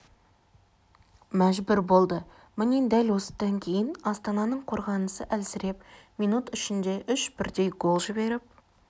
мәжбүр болды міне дәл осыдан кейін астананың қорғанысы әлсіреп минут ішінде үш бірдей гол жіберіп